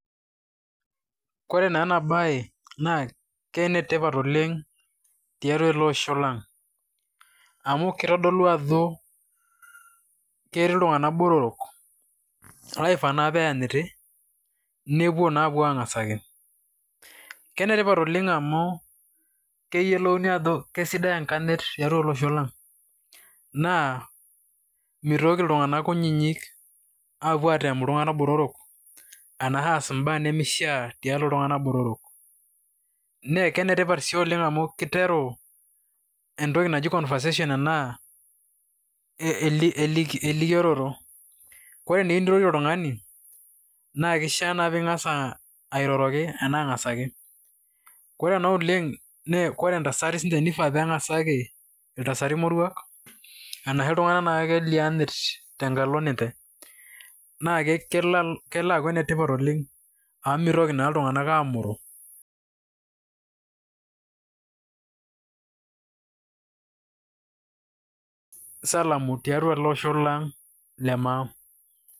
Ore naa enabae na kenetipat oleng tiatua eleosho lang amu kitadolu ajo ketii ltunganak botorok oifaa peanyiti, nepuo naa apuo angasaki, kenetipat olenga amu keyiolouni ajo kesidai enkanyit tiatua olosho lang, naa mitoki ltunganak kutitik apuo atem ltunganak botorok arashu aas mbaa nemeishaa tiatua ltunganak botorok, naa kenetipat sii Oleng amu keiteru entoki naji conversation anaa erikioloto, ore naa enirorie oltungani na keishaa airoroki anaa angasaki? ore na oleng lre ntasati na keifaa peiroroki iltasati moruak, arahu ltunganak akeyie loonyat na kelo aaku ene tipat oleng amu mitoki naa ltunganak amoro[break]salamu tiatua olosho le maa.